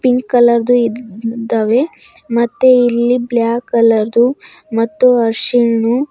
ಈ ಕಲರ್ದು ಇದ್ದಾವೆ ಮತ್ತೆ ಇಲ್ಲಿ ಬ್ಲಾಕ್ ಕಲರ್ದು ಮತ್ತು ಹರಿಶಿಣ್ಣು--